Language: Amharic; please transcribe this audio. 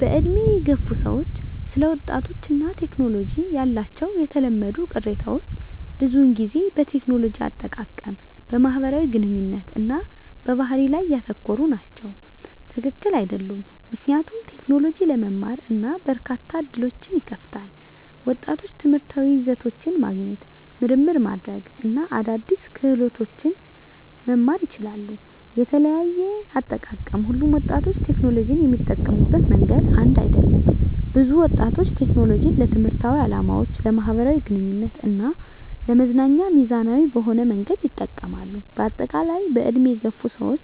በዕድሜ የገፉ ሰዎች ስለ ወጣቶች እና ቴክኖሎጂ ያላቸው የተለመዱ ቅሬታዎች ብዙውን ጊዜ በቴክኖሎጂ አጠቃቀም፣ በማህበራዊ ግንኙነት እና በባህሪ ላይ ያተኮሩ ናቸው። # ትክክል አይደሉም ምክንያቱም: ቴክኖሎጂ ለመማር እና በርካታ ዕድሎችን ይከፍታል። ወጣቶች ትምህርታዊ ይዘቶችን ማግኘት፣ ምርምር ማድረግ እና አዳዲስ ክህሎቶችን መማር ይችላሉ። * የተለያየ አጠቃቀም: ሁሉም ወጣቶች ቴክኖሎጂን የሚጠቀሙበት መንገድ አንድ አይደለም። ብዙ ወጣቶች ቴክኖሎጂን ለትምህርታዊ ዓላማዎች፣ ለማኅበራዊ ግንኙነት እና ለመዝናኛ ሚዛናዊ በሆነ መንገድ ይጠቀማሉ። በአጠቃላይ፣ በዕድሜ የገፉ ሰዎች